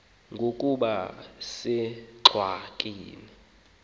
ngoku ukuba usengxakini